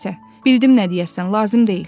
Nə isə, bildim nə deyəcəksən, lazım deyil.